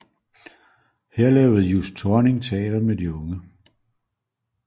Her lavede Just Thorning teater med de unge